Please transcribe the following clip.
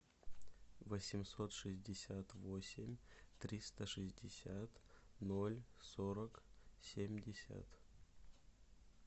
восемьсот шестьдесят восемь триста шестьдесят ноль сорок семьдесят